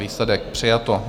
Výsledek: přijato.